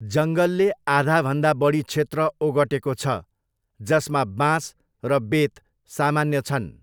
जङ्गलले आधाभन्दा बढी क्षेत्र ओगटेको छ, जसमा बाँस र बेत सामान्य छन्।